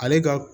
Ale ka